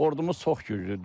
Ordumuz çox güclüdür.